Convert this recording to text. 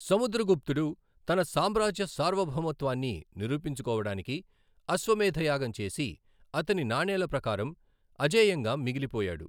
సముద్రగుప్తుడు తన సామ్రాజ్య సార్వభౌమత్వాన్ని నిరూపించుకోవడానికి అశ్వమేధ యాగం చేసి, అతని నాణేల ప్రకారం, అజేయంగా మిగిలిపోయాడు.